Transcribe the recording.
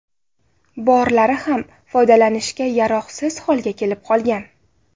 Borlari ham foydalanishga yaroqsiz holga kelib qolgan.